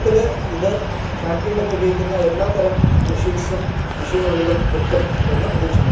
ഇതിൽ ഇത് ഫാക്ടറിയിൽ ഒക്കെ ഉപയോഗിക്കുന്ന എല്ലാ തരം മെഷീൻസും മെഷീൻ ഓയിലും കിട്ടും എന്ന് പ്രതീക്ഷിക്കുന്നു.